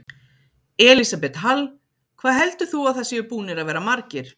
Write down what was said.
Elísabet Hall: Hvað heldur þú að það séu búnir að vera margir?